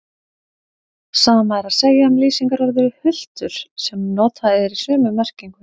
Sama er að segja um lýsingarorðið hultur sem notað er í sömu merkingu.